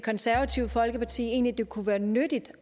konservative folkeparti egentlig det kunne være nyttigt